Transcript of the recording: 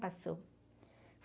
Passou.